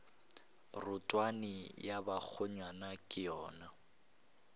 rotwane ya bakgonyana ke yona